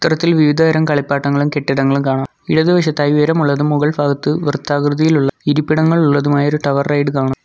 ഇത്തരത്തിൽ വിവിധതരം കളിപ്പാട്ടങ്ങളും കെട്ടിടങ്ങളും കാണാം ഇടതുവശത്തായി ഉയരമുള്ളതും മുകൾഫാഗത്ത് വൃത്താകൃതിയിലുള്ള ഇരിപ്പിടങ്ങൾ ഉള്ളതുമായ ഒരു ടവർ റൈഡും കാണാം.